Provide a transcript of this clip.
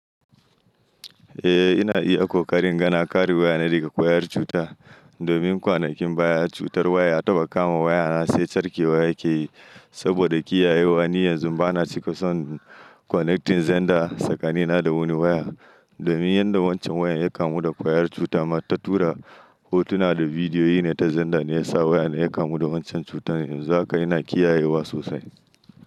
Eh ina iya kokarin in ga na kare waya na daga ƙwayar cuta domin kwanakin baya cutar waya taɓa kama waya na sai carke waya ke yi saboda kiyayewa ni yanzun bana cika son connecting zander tsakani na da wani waya domin yadda wancan wayan ya kamu da ƙwayar cuta ma ta tura hotuna da bidiyoyi ne ta zander ne ya sa waya na ya kamu da wancan cutar yanzu haka ina kiyayewa sosai.